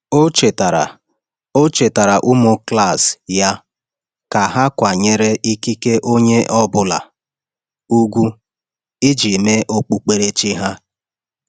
Ọ chetara Ọ chetara ụmụ klas ya ka ha kwanyere ikike onye ọ bụla ugwu iji mee okpukperechi ha.